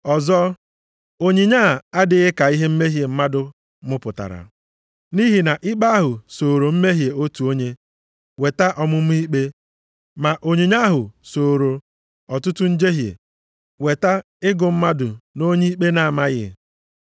Ọzọ, onyinye a adịghị ka ihe mmehie mmadụ mụpụtara. Nʼihi na ikpe ahụ sooro mmehie otu onye weta ọmụma ikpe, ma onyinye ahụ sooro ọtụtụ njehie weta ịgụ mmadụ nʼonye ikpe na-amaghị.